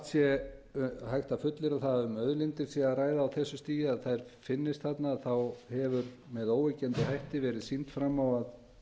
sé hægt að fullyrða að um auðlindir sé að ræða á þessu stigi að þær finnist þarna hefur með óyggjandi hætti verið sýnt fram á að